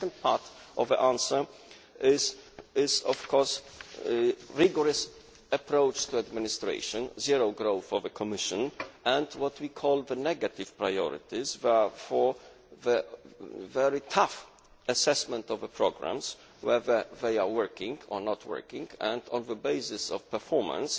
The second part of the answer is, of course, a rigorous approach to administration, zero growth of the Commission, and what we call the negative priorities for the very tough assessment of programmes to see whether they are working or not and, on the basis of performance,